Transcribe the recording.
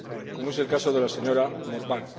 como es el caso de la señora Morvai.